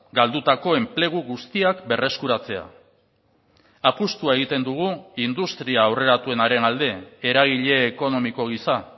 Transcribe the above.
galdutako enplegu guztiak berreskuratzea apustua egiten dugu industria aurreratuenaren alde eragile ekonomiko gisa